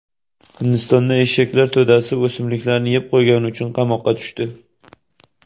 Hindistonda eshaklar to‘dasi o‘simliklarni yeb qo‘ygani uchun qamoqqa tushdi.